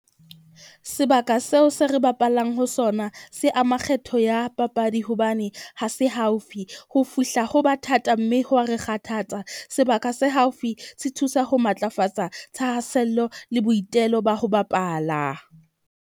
Sebaka seo se re bapalang ho sona se ama kgetho ya papadi, hobane ha se haufi ho fihla ho ba thata, mme ho wa re kgathatsa. Sebaka se haufi se thusa ho matlafatsa thahasello le boitelo ba ho bapala.